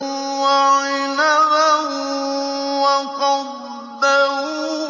وَعِنَبًا وَقَضْبًا